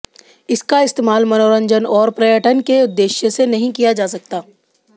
इसका इस्तेमाल मनोरंजन और पर्यटन के उद्देश्य से नहीं किया जा सकता